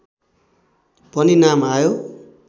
पनि नाम आयो